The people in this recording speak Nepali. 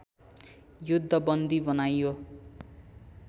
युद्धबन्दी बनाइयो